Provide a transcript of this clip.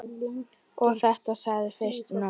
Og þetta segirðu fyrst núna.